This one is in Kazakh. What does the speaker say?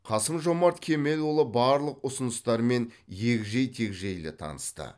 қасым жомарт кемелұлы барлық ұсыныстармен егжей тегжейлі танысты